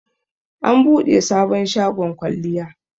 an bude sabon shagon kwalliya